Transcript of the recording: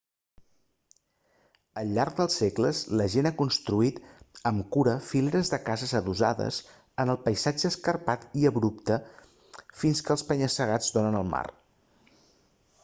al llarg dels segles la gent ha construït amb cura fileres de cases adossades en el paisatge escarpat i abrupte fins als penya-segats que donen al mar